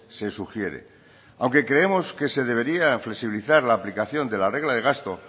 se sugiere aunque creemos que se debería flexibilizar la aplicación de la regla de gasto